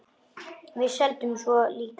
Svo seldum við líka Vikuna.